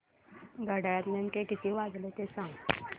घड्याळात नेमके किती वाजले ते सांग